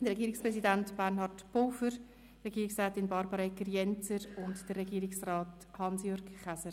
Regierungspräsident Bernhard Pulver, Regierungsrätin Barbara Egger-Jenzer und Regierungsrat Hans-Jürg Käser.